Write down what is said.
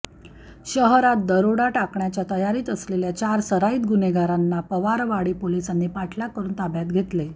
शहरात दरोडा टाकण्याच्या तयारीत असलेल्या चार सराईत गुन्हेगारांना पवारवाडी पोलिसांनी पाठलाग करून ताब्यात घेतले